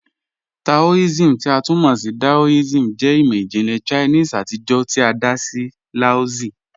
Taoism, ti a tun mọ ni Daoism, jẹ imọ-jinlẹ Chinese atijọ ti a da sí Laozi.